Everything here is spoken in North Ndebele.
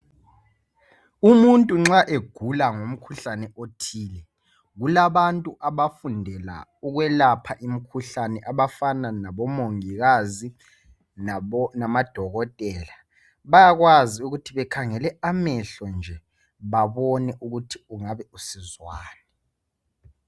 Umuntu nxa egula ngumkhuhlane othile kulabantu abafundela ukwelapha imkhuhlane abafana labo mongikazi lama dokotela bayakwazi ukuthi bekhangele amehlo nje babone ukuthi engabe esizwani.